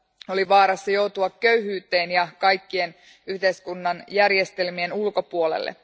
oli vaarassa joutua köyhyyteen ja kaikkien yhteiskunnan järjestelmien ulkopuolelle.